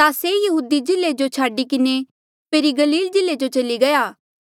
ता से यहूदी जिल्ले जो छाडी किन्हें फेरी गलील जिल्ले जो चली गया